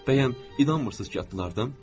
Bəyəm inanmırsız ki, atılardım?